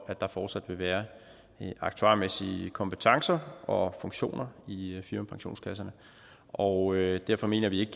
at der fortsat vil være aktuarmæssige kompetencer og funktioner i firmapensionskasserne og derfor mener vi ikke